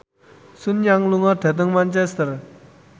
Sun Yang lunga dhateng Manchester